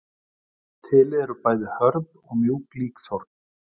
Til eru bæði hörð og mjúk líkþorn.